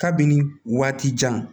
Kabini waati jan